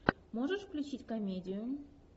можешь включить комедию